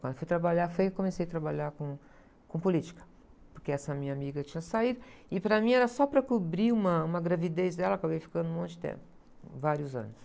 fui trabalhar, foi que eu comecei a trabalhar com, com política, porque essa minha amiga tinha saído, e para mim era só para cobrir uma, uma gravidez dela, acabei ficando um monte de tempo, vários anos.